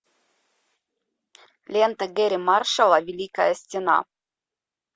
лента гэрри маршалла великая стена